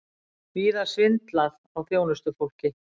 Víða svindlað á þjónustufólki